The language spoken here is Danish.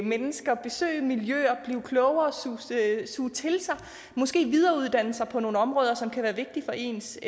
mennesker besøge miljøer blive klogere suge til sig måske videreuddanne sig på nogle områder som kan være vigtige for ens